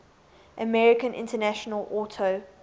american international auto